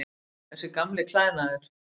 Þessi gamli klæðnaður.